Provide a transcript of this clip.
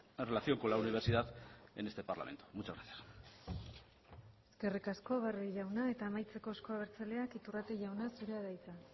en relación con la universidad en este parlamento muchas gracias eskerrik asko barrio jauna eta amaitzeko euzko abertzaleak iturrate jauna zurea da hitza